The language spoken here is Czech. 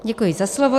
Děkuji za slovo.